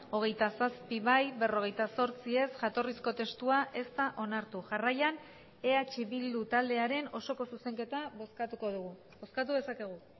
hogeita zazpi bai berrogeita zortzi ez jatorrizko testua ez da onartu jarraian eh bildu taldearen osoko zuzenketa bozkatuko dugu bozkatu dezakegu